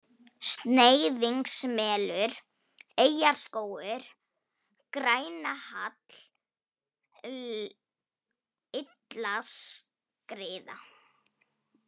Sneiðingsmelur, Eyjuskógur, Grænahall, Illaskriða